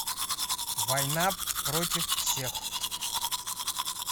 война против всех